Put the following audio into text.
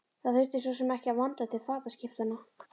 Það þurfti svo sem ekki að vanda til fataskiptanna.